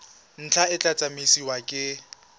ntlha e tla tsamaisiwa ke